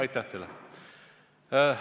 Aitäh teile!